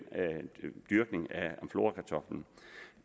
dyrkning